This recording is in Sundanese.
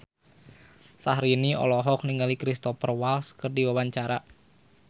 Syaharani olohok ningali Cristhoper Waltz keur diwawancara